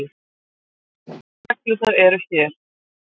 Reglurnar eru hér.